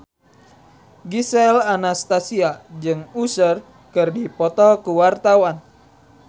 Gisel Anastasia jeung Usher keur dipoto ku wartawan